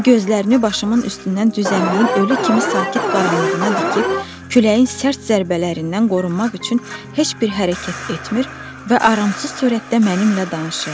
O gözlərini başımın üstündən düzənliyin ölü kimi sakit qaranlığına dikib küləyin sərt zərbələrindən qorunmaq üçün heç bir hərəkət etmir və aramsız surətdə mənimlə danışırdı.